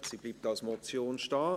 Sie bleibt als Motion bestehen.